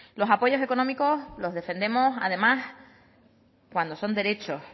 los apoyos económicos los defendemos además cuando son derechos